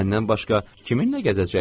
Məndən başqa kiminlə gəzəcək?